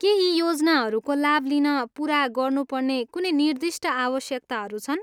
के यी योजनाहरूको लाभ लिन पुरा गर्नुपर्ने कुनै निर्दिष्ट आवश्यकताहरू छन्?